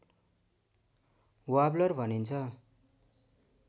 warbler भनिन्छ